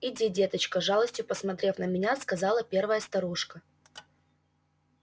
иди деточка с жалостью посмотрев на меня сказала первая старушка